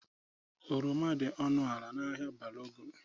Oroma dị ọnụ ala n'ahịa Balogun.